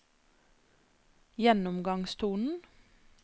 gjennomgangstonen